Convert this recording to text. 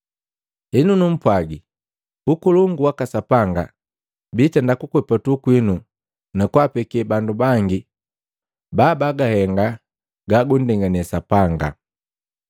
“Henu numpwagi, Ukolongu waka Sapanga biitenda kukwepatu kwinu na kwaapeke bandu bangi babagahenga gagunndengane Sapanga.”